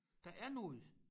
Der er noget